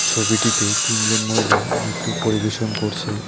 ছবিটিতে তিনজন মহিলা নৃত্য পরিবেশন করছে।